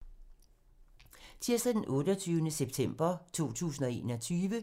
Tirsdag d. 28. september 2021